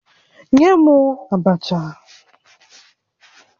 Nye m abacha!